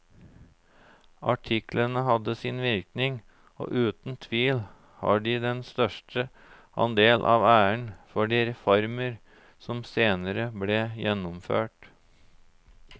Artiklene hadde sin virkning og uten tvil har de den største andel av æren for de reformer som senere ble gjennomført.